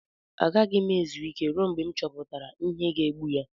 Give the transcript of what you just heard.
Agaghị m ezu ike ruo mgbe m chọpụtara ihe ga-egbu ya.